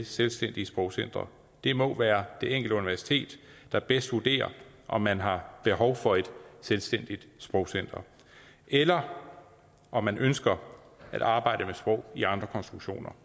selvstændige sprogcentre det må være det enkelte universitet der bedst vurderer om man har behov for et selvstændigt sprogcenter eller om om man ønsker at arbejde med sprog i andre konstruktioner